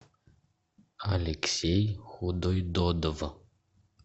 алексей худойдодов